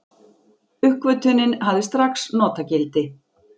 Uppgötvunin hafði strax notagildi.